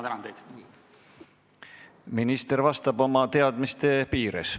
Minister vastab oma teadmiste piires.